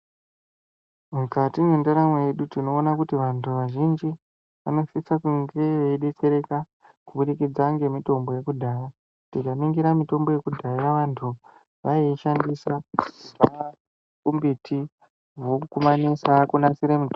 Mukati mwendaramo yedu tinoona kuti vantu kazhinji vanosisa kunge veidetsereka kubudikidza ngemitombo yekudhaya tikaningira mitombo yekudhaya vantu vaiishandisa kubva kumbiti vokumamisa kunasire mitombo.